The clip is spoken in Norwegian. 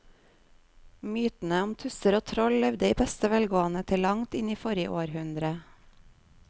Mytene om tusser og troll levde i beste velgående til langt inn i forrige århundre.